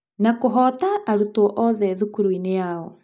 Na kũhoota arutwo othe thukuru-inĩ yao.